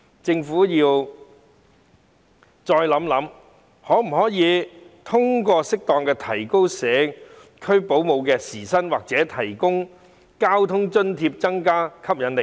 政府應再研究可否通過適當提高社區保姆的時薪或提供交通津貼，以增加這行業的吸引力。